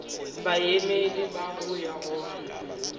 baemedi ba go ya go